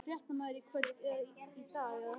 Fréttamaður: Í kvöld eða í dag eða?